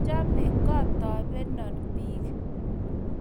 machame kotobenon biik